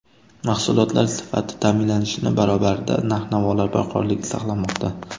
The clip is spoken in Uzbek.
Mahsulotlar sifati ta’minlanishi barobarida narx-navolar barqarorligi saqlanmoqda.